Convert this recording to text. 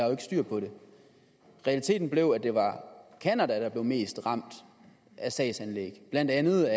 har styr på det realiteten blev at det var canada der blev mest ramt af sagsanlæg blandt andet